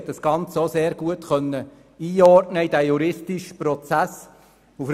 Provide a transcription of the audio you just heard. Sie konnte das Ganze auch sehr gut in den juristischen Prozess einordnen.